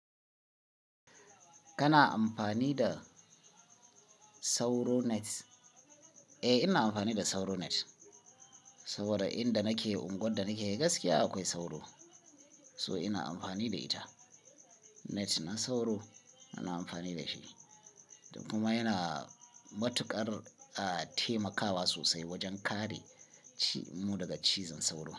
Kana amfani da sauro net? Eh, ina amfani da sauro net saboda inda nake unguwar da nake gaskiya akwai sauro, so ina amfani da ita. Net na sauro ina amfani da shi kuma yana matuƙar taimakawa sosai wajen kare mu daga cizon sauro.